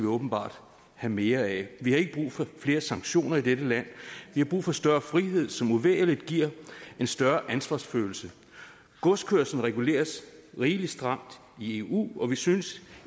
åbenbart have mere af vi har ikke brug for flere sanktioner i dette land vi har brug for større frihed som uvægerlig giver en større ansvarsfølelse godskørsel reguleres rigelig stramt i eu og vi synes